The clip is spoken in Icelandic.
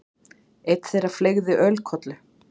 Einn þeirra fleygði ölkollu.